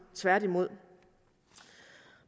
tværtimod